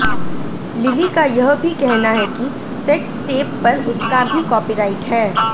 lily का यह भी कहना है कि सेक्स टेप पर उसका भी कॉपीराइट है